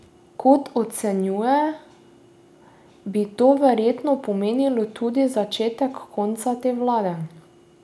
Kot ocenjuje, bi to verjetno pomenilo tudi začetek konca te vlade.